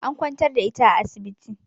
An kwantar da ita a asibiti